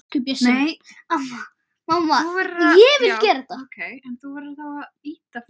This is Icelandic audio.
Elsku Bjössi minn.